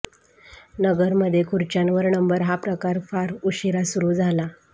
नगरमध्ये खुर्च्यांवर नंबर हा प्रकार फार उशिरा सुरू झाला